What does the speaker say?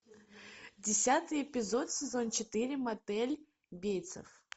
десятый эпизод сезон четыре мотель бейтсев